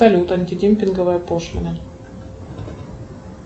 салют антидемпинговая пошлина